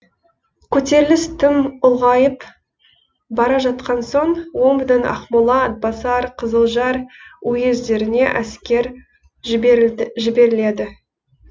көтеріліс тым ұлғайып бара жатқан соң омбыдан ақмола атбасар қызылжар уездеріне әскер жіберіледі